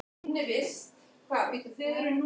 Og faðir okkar verður að skilja það.